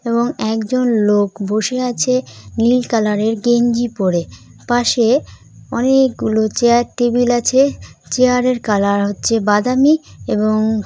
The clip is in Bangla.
এবং একজন লোক বসে আছে নীল কালারের এর গেঞ্জি পড়ে। । পাশে অনেক গুলো চায়ের টেবিল আছে। চেয়ারের কালার হচ্ছে বাদামী এবং--